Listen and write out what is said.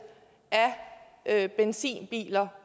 af benzinbiler